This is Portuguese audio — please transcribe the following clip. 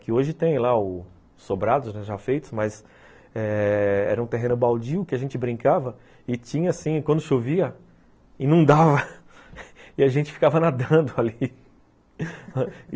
Que hoje tem lá os sobrados, já feitos, mas eh... era um terreno baldio que a gente brincava e tinha assim, quando chovia, inundava e a gente ficava nadando ali.